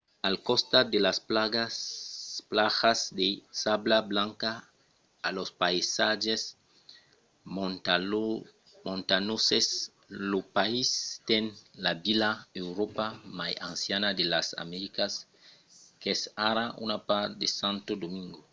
al costat de las plajas de sabla blanca e los païsatges montanhoses lo país ten la vila europèa mai anciana de las americas qu’es ara una part de santo domingo